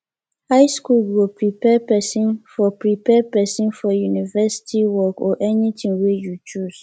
high school go prepare pesin for prepare pesin for university work or anything wey you choose